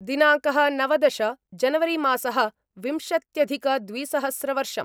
दिनाङ्क: नवदश जनवरिमासः विंशत्यधिकद्विसहस्रवर्षम्